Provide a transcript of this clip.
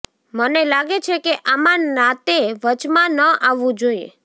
મને લાગે છે કે આમાં નાતે વચમાં ન આવવું જોઈએ